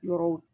Yɔrɔw